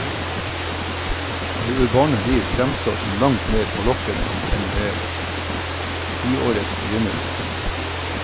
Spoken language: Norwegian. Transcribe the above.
Det urbane liv fremstår som langt mer forlokkende enn ved tiårets begynnelse.